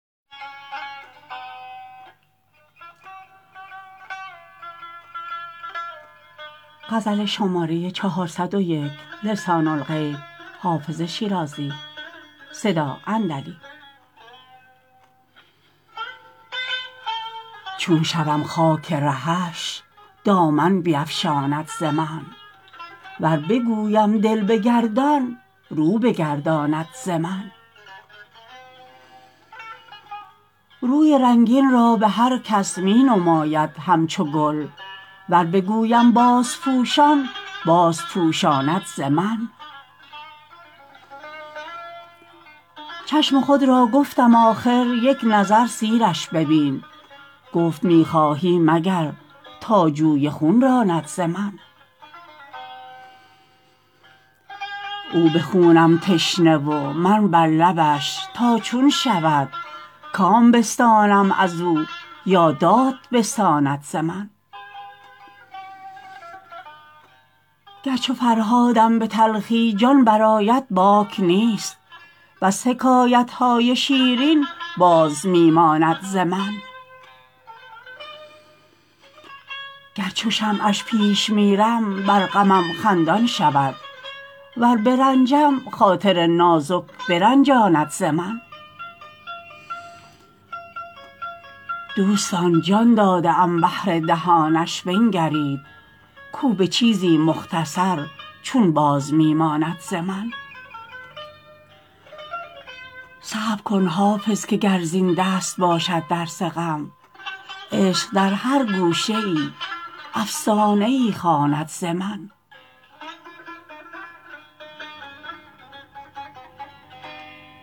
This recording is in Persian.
چون شوم خاک رهش دامن بیفشاند ز من ور بگویم دل بگردان رو بگرداند ز من روی رنگین را به هر کس می نماید همچو گل ور بگویم بازپوشان بازپوشاند ز من چشم خود را گفتم آخر یک نظر سیرش ببین گفت می خواهی مگر تا جوی خون راند ز من او به خونم تشنه و من بر لبش تا چون شود کام بستانم از او یا داد بستاند ز من گر چو فرهادم به تلخی جان برآید باک نیست بس حکایت های شیرین باز می ماند ز من گر چو شمعش پیش میرم بر غمم خندان شود ور برنجم خاطر نازک برنجاند ز من دوستان جان داده ام بهر دهانش بنگرید کو به چیزی مختصر چون باز می ماند ز من صبر کن حافظ که گر زین دست باشد درس غم عشق در هر گوشه ای افسانه ای خواند ز من